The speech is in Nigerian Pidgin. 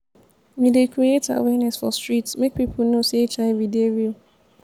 we dey create awareness for street make pipo know sey hiv dey real.